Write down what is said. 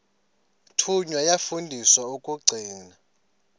thunywa yafundiswa ukugcina